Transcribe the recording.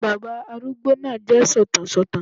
Bàbá arúgbó náà jẹ́ sọ̀tàn sọ̀tàn